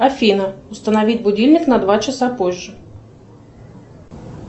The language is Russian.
афина установить будильник на два часа позже